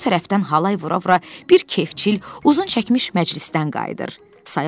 O tərəfdən halay vura-vura bir kefçil uzun çəkmiş məclisdən qayıdır.